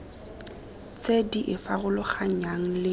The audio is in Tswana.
tse di e farologanyang le